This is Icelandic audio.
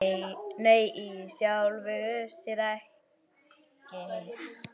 Nei í sjálfu sér ekki.